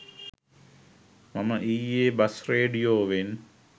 මම ඊයෙ බස් රේඩියෝවෙන්